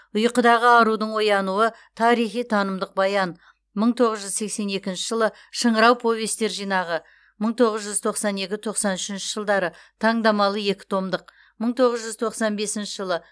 ұйқыдағы арудың оянуы тарихи танымдық баян мың тоғыз жүз сексен екінші жылы шыңырау повестер жинағы мың тоғыз жүз тоқсан екінші тоқсан үшінші жылдары таңдамалы екі томдық мың тоғыз жүз тоқсан бесінші жылы